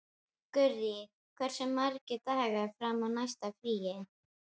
Gurrí, hversu margir dagar fram að næsta fríi?